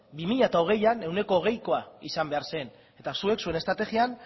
bi mila hogeian ehuneko hogeikoa izan behar zen eta zuek zuen estrategian